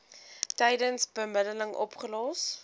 tydens bemiddeling opgelos